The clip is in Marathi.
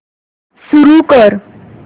सुरू कर